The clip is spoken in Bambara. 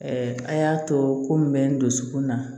a y'a to ko mun bɛ nsukun na